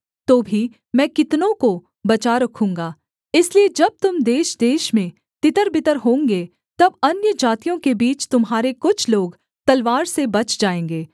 तो भी मैं कितनों को बचा रखूँगा इसलिए जब तुम देशदेश में तितरबितर होंगे तब अन्यजातियों के बीच तुम्हारे कुछ लोग तलवार से बच जाएँगे